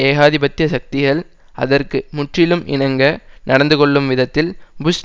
ஏகாதிபத்திய சக்திகள் அதற்கு முற்றிலும் இணங்க நடந்துகொள்ளும் விதத்தில் புஷ்